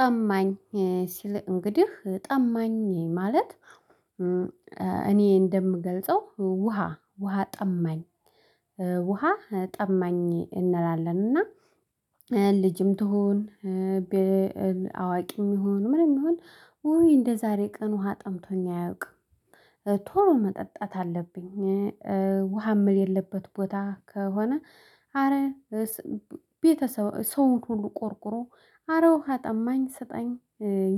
ጠማኝ ሲል እንግዲህ ጠማኝ ማለት። እኔ እንደምገልጸው ውሃ ውሃ ጠማኝ። ውሃ ጠማኝ እንላለንና። ልጅም ትሁን አዋቂም ይሁን ምንም ይሁን እንደዛሬ ቀን ውሃ ጠምቶኝ አያውቅም። ቶሎ መጠጣት አለብኝ። ውሃ ምል የለበት ቦታ ከሆነ። አረ ቤተሰብ ሰው ሁሉ ቆርቁሮ አረ ውሃ ጠማኝ ሰጠኝ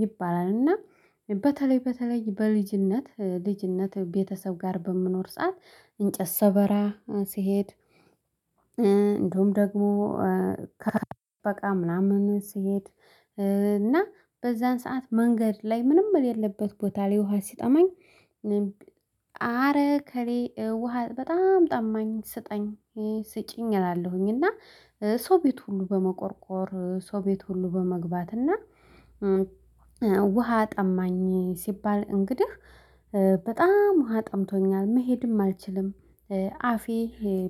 ይባላል። እና በተለይ በተለይ በልጅነት ልጅነት ቤተሰብ ጋር በምኖር ሰዓት እንጨት ሰበራ ሲሄድ። እንደውም ደግሞ ከበቃ ምናምን ስሄድ። እና በዛን ሰዓት መንገድ ላይ ምንም የሌለበት ቦታ ላይ ውሃ ሲጠማኝ። አረ ከሌ ውሃ በጣም ጠማኝ ስጠኝ ስጪኝ እላለሁኝ። እና ሰው ቤት ሁሉ በመቆርቆር ሰው ቤት ሁሉ በመግባት እና ውሃ ጠማኝ ሲባል። እንግዲህ በጣም ውሃ ጠምቶኛል መሄድም አልችልም። አፌ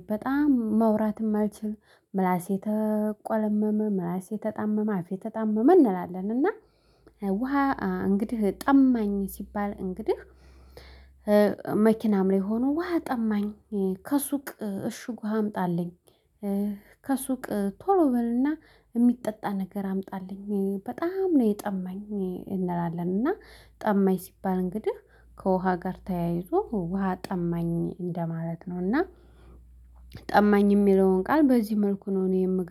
በጣም መውራትም አልችልም ምላሴ ተቆለመመ ራሴ ተጣመመ አፌ ተጣመመ እንላለን እና። ውሃ እንግዲህ ጠማኝ ሲባል እንግዲህ መኪናም ላይ ሆኖ ውሃ ጠማኝ ከሱቅ እሽጉ አምጣልኝ። ከሱቅ ቶሎ በልና የሚጠጣ ነገር አምጣልኝ በጣም ነው የጠማኝ እንላለን። እና ጠማኝ ሲባል እንግዲህ ከውሃ ጋር ተያይዞ ውሃ ጠማኝ እንደማለት ነው። እና ጠማኝ የሚለውን ቃል በዚህ መልኩ ነው። እኔ የምገርም